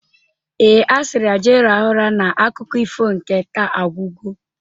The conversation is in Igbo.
Ee, a sịrị ya jee rahụ ụra na akụkọ ifo nke taa agwugo